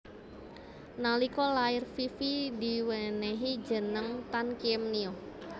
Nalika lair Fifi diwenéhi jeneng Tan Kiem Nio